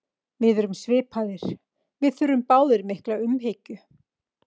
Við erum svipaðir, við þurfum báðir mikla umhyggju.